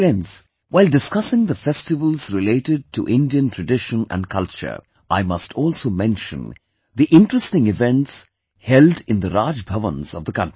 Friends, while discussing the festivals related to Indian tradition and culture, I must also mention the interesting events held in the Raj Bhavans of the country